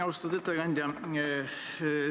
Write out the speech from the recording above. Austatud ettekandja!